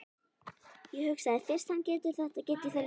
Ég hugsaði, fyrst hann getur þetta get ég það líka.